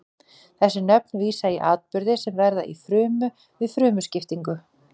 þessi nöfn vísa í atburði sem verða í frumu við frumuskiptingu